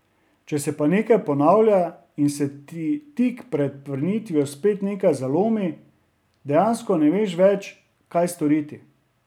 Če se pa nekaj ponavlja in se ti tik pred vrnitvijo spet nekaj zalomi, dejansko ne veš več, kaj storiti.